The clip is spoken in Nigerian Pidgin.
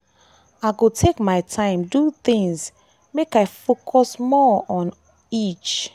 i go take my time do things make i focus more on on each.